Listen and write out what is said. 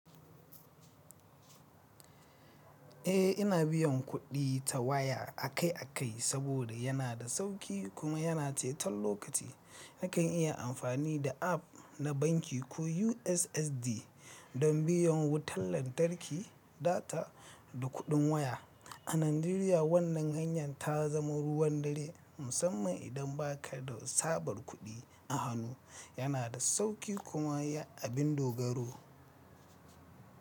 Eh ina biyan kuɗi ta waya akai-akai saboda yana da sauƙi kuma yana ceton lokaci. Nakan iya amfani da app na banki ko USSD don biyan wutar lantarki, data da kuɗin waya. A Najeriya wannan hanyar ta zama ruwan dare musamman idan ba ka da sabar kuɗi a hannu. Yana da sauƙi kuma ya abin dogaro.